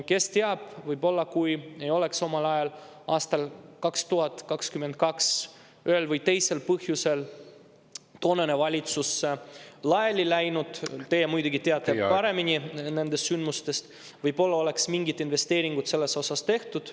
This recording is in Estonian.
Kes teab, võib-olla, kui ei oleks omal ajal, aastal 2022 ühel või teisel põhjusel toonane valitsus laiali läinud – teie muidugi teate paremini neid sündmusi –, oleks mingid investeeringud selles osas tehtud.